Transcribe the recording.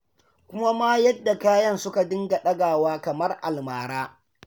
Kuma ma yadda kayan suka dinga ɗagawa kamar a almara.